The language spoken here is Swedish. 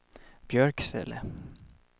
Björksele